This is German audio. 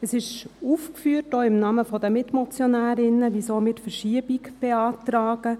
Es ist, auch im Namen der Mitmotionärinnen, aufgeführt, weshalb wir die Verschiebung beantragen.